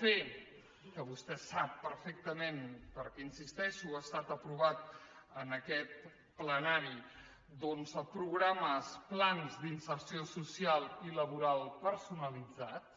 fer que vostè ho sap perfectament perquè hi insisteixo ha estat aprovat en aquest plenari programes plans d’inserció social i laboral personalitzats